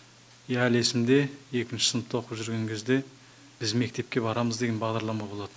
иә әлі есімде екінші сыныпта оқып жүрген кезде біз мектепке барамыз деген бағдарлама болатын